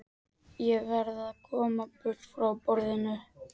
Ég verð að komast burt frá borðinu.